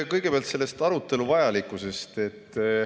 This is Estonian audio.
Kõigepealt selle arutelu vajalikkusest.